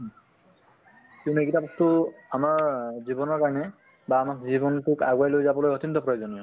কিয়নো এইগিটাত তো আমাৰ জীৱনৰ কাৰণে বা আমাৰ জীৱন তোক আগুৱাই লৈ যাবলৈ অত্য়ন্ত প্ৰয়োজনীয়